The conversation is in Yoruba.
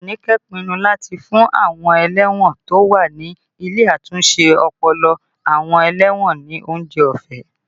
Anike pinnu láti fún àwọn ẹlẹ́wọ̀n tó wà ní ilé àtúnṣe ọpọlọ àwọn ẹlẹ́wọ̀n ní oúnjẹ ọ̀fẹ́